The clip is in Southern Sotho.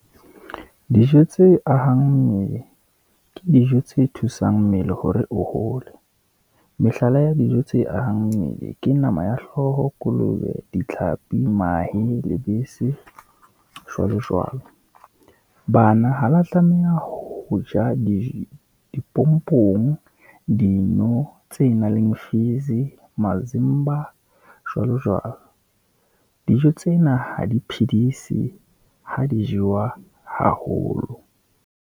Dijo tse ahang mmele, ke dijo tse thusang mmele hore o hole, mehlala ya dijo tse ahang mmele ke nama ya hlooho, kolobe, ditlhapi, mahe, lebese, jwalo jwalo. Bana ha la tlameha ho ja dipompong, dino tse nang le fizz-e, masimba, jwalo jwalo. Dijo tsena ha di phidise, ha di jewa haholo.